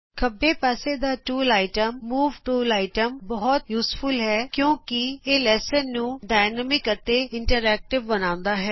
ਖੱਬੇ ਪਾਸੇ ਦਾ tool item move tool item ਸਿਖਾਉਣ ਲਈ ਬਹੁਤ ਮਹੱਤਵਪੂਰਨ ਹੈ ਕਿਉਂਕਿ ਇਹ ਲੈਸਨ ਨੂੰ ਗਤੀਮਾਨ ਅਤੇ ਇੰਟਰੈਕਟਿਵ ਬਣਾਉਂਦਾ ਹੈ